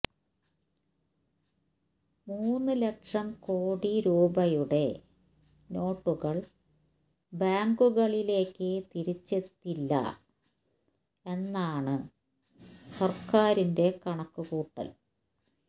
മൂന്ന് ലക്ഷം കോടി രൂപയുടെ നോട്ടുകള് ബാങ്കുകളിലേക്ക് തിരിച്ചെത്തില്ല എന്നാണ് സര്ക്കാറിന്റെ കണക്കുകൂട്ടല്